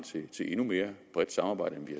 til endnu mere bredt samarbejde end vi